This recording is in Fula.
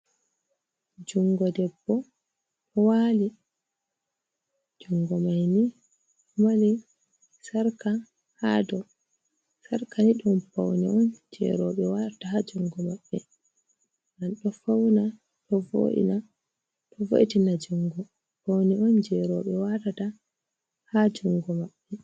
Jungo Debbo ɗo wali, jungo maini ɗo Mari Sarka ha dou, Sarka ni ɗum Paune'on je Roɓe watata ha jungo Mabɓe. Ɗo fauna ɗo vo’itina jungo, Paune on je roɓe watata ha jungo Mabɓe.